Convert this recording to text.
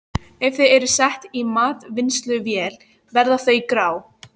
Ef þau eru sett í matvinnsluvél verða þau grá.